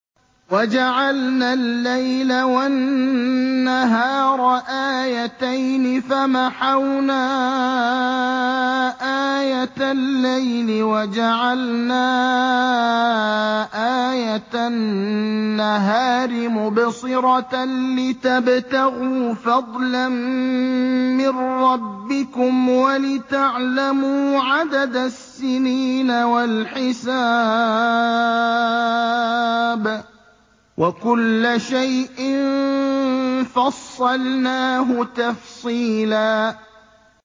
وَجَعَلْنَا اللَّيْلَ وَالنَّهَارَ آيَتَيْنِ ۖ فَمَحَوْنَا آيَةَ اللَّيْلِ وَجَعَلْنَا آيَةَ النَّهَارِ مُبْصِرَةً لِّتَبْتَغُوا فَضْلًا مِّن رَّبِّكُمْ وَلِتَعْلَمُوا عَدَدَ السِّنِينَ وَالْحِسَابَ ۚ وَكُلَّ شَيْءٍ فَصَّلْنَاهُ تَفْصِيلًا